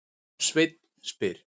Sveinn spyr